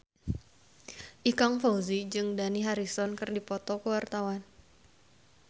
Ikang Fawzi jeung Dani Harrison keur dipoto ku wartawan